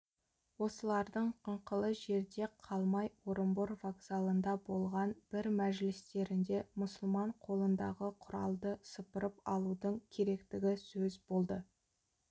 осылардың қыңқылы жерде қалмай орынбор вокзалында болған бір мәжілістерінде мұсылман қолындағы құралды сыпырып алудың керектігі сөз болды